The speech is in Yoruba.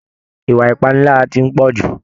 Ìwà ipanilara tí n pọ jù.